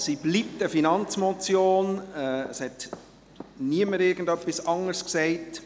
Es bleibt eine Finanzmotion, es hat niemand irgendetwas anderes gesagt.